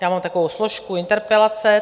Já mám takovou složku Interpelace.